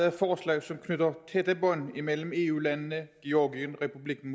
et forslag som knytter tætte bånd mellem eu landene georgien republikken